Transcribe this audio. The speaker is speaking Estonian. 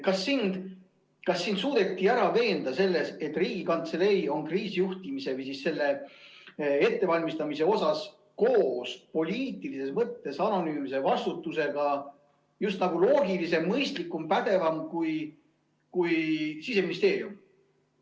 Kas sind suudeti ära veenda selles, et Riigikantselei on kriisijuhtimises või selle ettevalmistamises koos poliitilises mõttes anonüümse vastutusega just nagu loogilisem, mõistlikum, pädevam kui Siseministeerium?